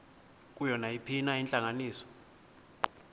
kuyo nayiphina intlanganiso